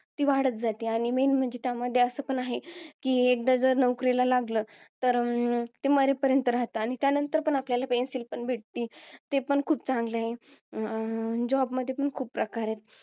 ती वाढत जाते. आणि main म्हणजे, त्यामधी असं पण आहे कि, एकदा जर नोकरीला लागलं, तर ते मरेपर्यंत राहतात. आणि त्यानंतर पण आपल्याला pension पण भेटती. ते पण खूप चांगलं आहे. अं Job मध्ये पण खूप प्रकार आहेत.